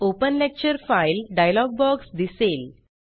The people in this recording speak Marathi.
open lecture file dialog box दिसेल